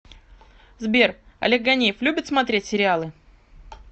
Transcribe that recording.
сбер олег ганеев любит смотреть сериалы